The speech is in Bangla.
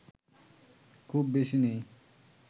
খুব বেশি নেই